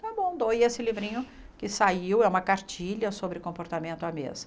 Tá bom, doei esse livrinho que saiu, é uma cartilha sobre comportamento à mesa.